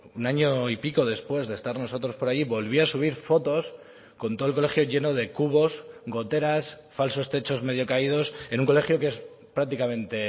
un año y pico después de estar nosotros por allí volvía a subir fotos con todo el colegio lleno de cubos goteras falsos techos medio caídos en un colegio que es prácticamente